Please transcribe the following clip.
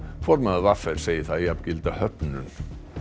formaður v r segir það jafngilda höfnun